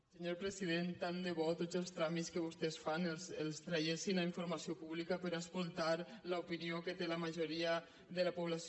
senyor president tant de bo que tots els tràmits que vostès fan els traguessin a informació pública per escoltar l’opinió que té la majoria de la població